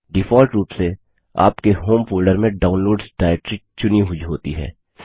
default रूप से आपके होम फोल्डर में डाउनलोड्स डाइरेक्टरी चुनी हुई होती है